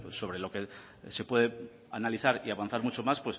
sobre lo que se puede analizar y avanzar mucho más